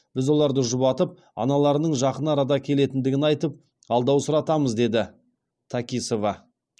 біз оларды жұбатып аналарының жақын арада келетіндігін айтып алдаусыратамыз деді такисова